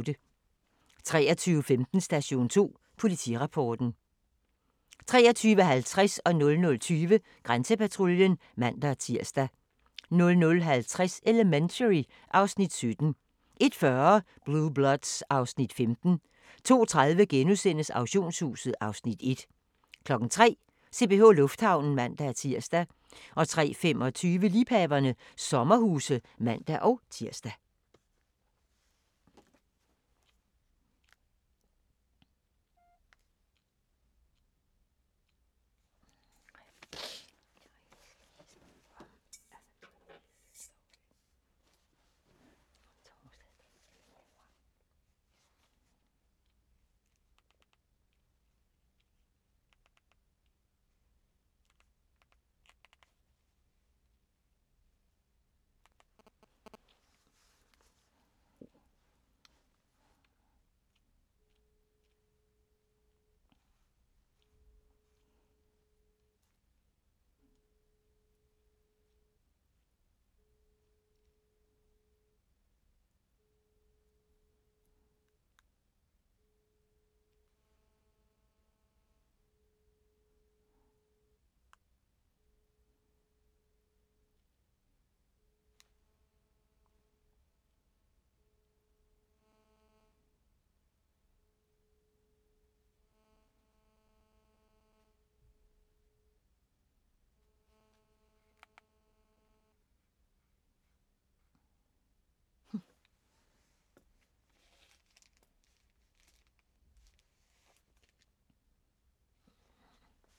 23:15: Station 2: Politirapporten 23:50: Grænsepatruljen (man-tir) 00:20: Grænsepatruljen (man-tir) 00:50: Elementary (Afs. 17) 01:40: Blue Bloods (Afs. 15) 02:30: Auktionshuset (Afs. 1)* 03:00: CPH Lufthavnen (man-tir) 03:25: Liebhaverne - sommerhuse (man-tir)